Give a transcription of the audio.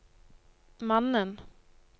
mannen